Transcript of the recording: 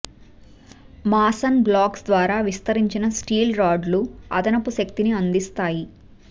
Mason blocks ద్వారా విస్తరించిన steel రాడ్లు అదనపు శక్తిని అందిస్తాయి